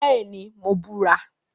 Bẹẹni, Mo bura